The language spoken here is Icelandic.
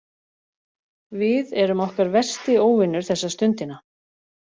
Við erum okkar versti óvinur þessa stundina.